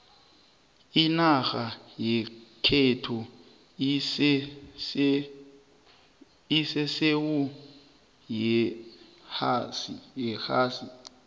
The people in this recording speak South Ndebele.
inarha yekhethu isesewu yeohasi